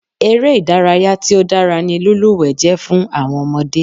Eré ìdárayá tí ó dára ni lílúwẹ̀ẹ́ jẹ́ fún àwọn ọmọdé.